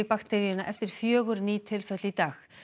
bakteríuna eftir fjögur ný tilfelli í dag